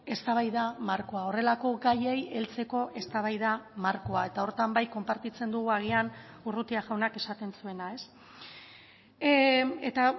eztabaida markoa horrelako gaiei heltzeko eztabaida markoa eta horretan bai konpartitzen dugu agian urrutia jaunak esaten zuena eta